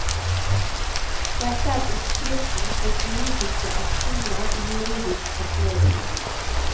Dette er oppskriften på politiske aksjoner i juridisk forkledning.